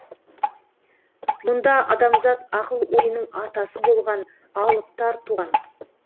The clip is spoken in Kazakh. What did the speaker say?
мұнда адамзат ақыл ойының атасы болған алыптар туған